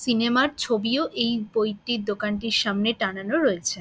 Cinema -র ছবিও এই বইটির দোকানটির সামনে টানানো রয়েছে।